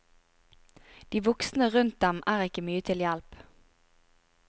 De voksne rundt dem er ikke til mye hjelp.